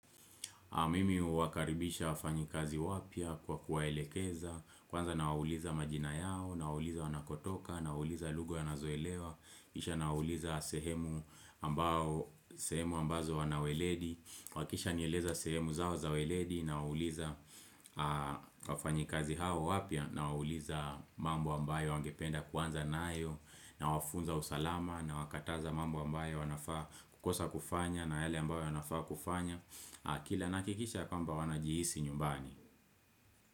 Mimi huwakaribisha wafanyikazi wapya kwa kuwaelekeza, kwanza na wawuliza majina yao, na wawuliza wanakotoka, na wawuliza lugha wa nazoelewa, kisha na wawuliza sehemu ambazo wanaweledi, wakisha nieleza sehemu zao zaweledi, nawauliza wafanyikazi hao wapya, na wawuliza mambo ambayo wangependa kwanza na ayo, na wafunza usalama, na wakataza mambo ambayo wanafaa kukosa kufanya, na yale ambayo wanafaa kufanya. Kila nahakikisha kwamba wanajihisi nyumbani.